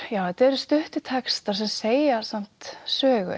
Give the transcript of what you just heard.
þetta eru stuttir textar sem segja samt sögu